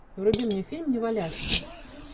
вруби мне фильм неваляшка